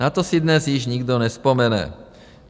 Na to si dnes již nikdo nevzpomene.